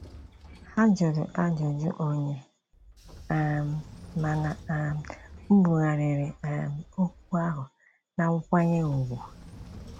Ha jụrụ ajụjụ onye, um mana um mbughariri um okwu ahụ na nkwanye ùgwù